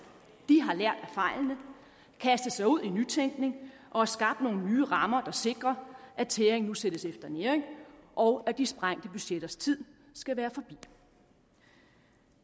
de har lært af fejlene kastet sig ud i nytænkning og har skabt nogle nye rammer der sikrer at tæring nu sættes efter næring og at de sprængte budgetters tid skal være forbi